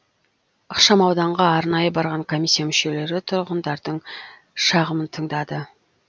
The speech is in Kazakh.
ықшамауданға арнайы барған комиссия мүшелері тұрғындардың шағымын тыңдады